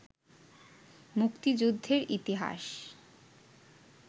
মুক্তিযুদ্ধের ইতিহাস